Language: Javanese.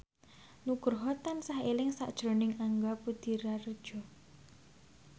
Nugroho tansah eling sakjroning Angga Puradiredja